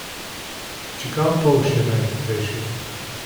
Čigav polž je najhitrejši?